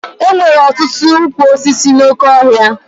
E nwere ọtụtụ ụkwụ osisi n'oké ọhịa fọrestị